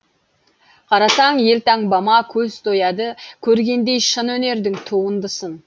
қарасаң елтаңбама көз тояды көргендей шын өнердің туындысын